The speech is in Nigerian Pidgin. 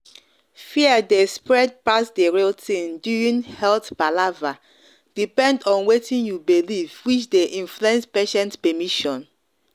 fear dey spread pass the real thing during health palaver depend on wetin you believe which dey influence patient permission.